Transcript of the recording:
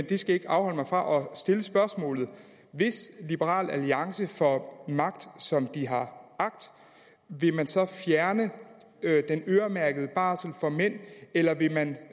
det skal ikke afholde mig fra stille spørgsmålet hvis liberal alliance får magt som de har agt vil man så fjerne den øremærkede barsel for mænd eller vil man